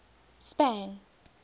spang